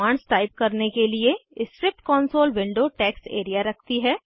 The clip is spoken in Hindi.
कमांड्स टाइप करने के लिए script console window text area रखती है